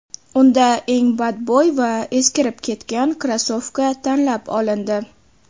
Unda eng badbo‘y va eskirib ketgan krossovka tanlab olindi.